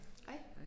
Hej